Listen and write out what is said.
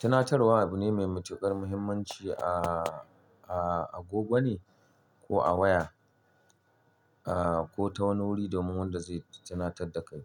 Tunatarwa abu ne mai matuƙar muhimmanci a, a, a goggo ne ko a waya, ah, ko ta wani wuri domin wanda zai tunatar da kai.